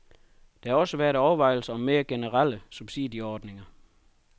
Der har også været overvejelser om mere generelle subsidieordninger.